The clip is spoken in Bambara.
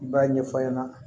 I b'a ɲɛfɔ a ɲɛna